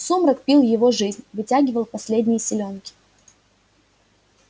сумрак пил его жизнь вытягивал последние силёнки